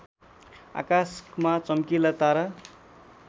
आकाशमा चम्किला तारा